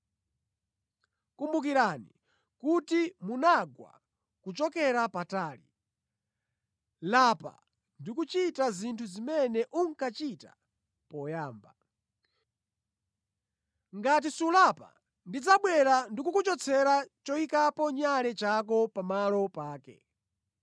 Kumbukirani kuti munagwa kuchokera patali. Lapa ndikuchita zinthu zimene unkachita poyamba. Ngati sulapa ndidzabwera ndikukuchotsera choyikapo nyale chako pamalo pake.